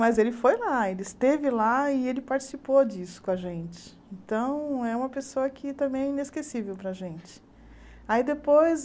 mas ele foi lá, ele esteve lá e ele participou disso com a gente então é uma pessoa que também é inesquecível para a gente aí depois